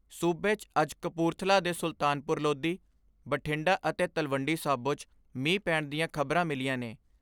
ਸੂਬੇ 'ਚ ਅੱਜ ਕਪੂਰਥਲਾ ਦੇ ਸੁਲਤਾਨਪੁਰ ਲੋਧੀ, ਬਠਿੰਡਾ ਅਤੇ ਤਲਵੰਡੀ ਸਾਬੋ 'ਚ ਮੀਂਹ ਪੈਣ ਦੀਆਂ ਖਬਰਾਂ ਮਿਲੀਆਂ ਨੇ।